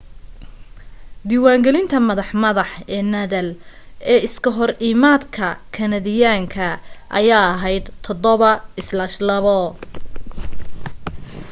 diwaan galinta madax madax ee nadal iska hor imaadkii kanadiyaanka ayaa ahayd 7-2